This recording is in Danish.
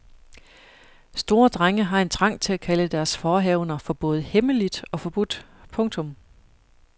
Store drenge har en trang til at kalde deres forehavender for både hemmeligt og forbudt. punktum